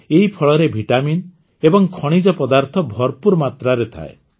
ଏହି ଫଳରେ ଭିଟାମିନ୍ ଏବଂ ଖଣିଜପଦାର୍ଥ ଭରପୁର ମାତ୍ରାରେ ଥାଏ